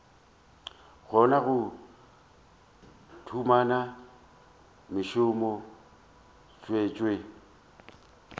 kgona go humana mešomo tswetšo